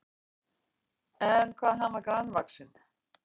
En hvað hann var grannvaxinn!